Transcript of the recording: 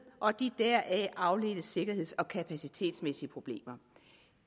og de deraf afledte sikkerheds og kapacitetsmæssige problemer